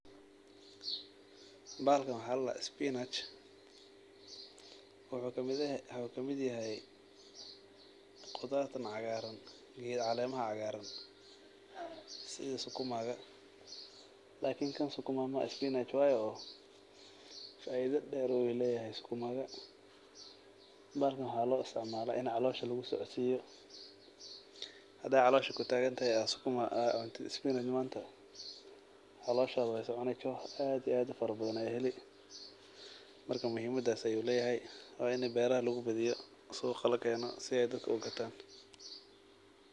Bahalkan waxa ladah spinach wuxu kamid yahay qudartan cagaran iyo caleymaha cagran sidi sukumaga lakini kan sukuma maha spinach wayo oo faido der bu leyay sukumaga, bahalkan waxa lo istacmala in calosha lugusocodsiyo haday calosha kutagatahay oo spinach a cunto caloshada way soconi joh ay ufara badan ba heli, narka muhimadas yu lehyay waina beraha lugubadiyi suqa lakeno si ay dadka ugatan.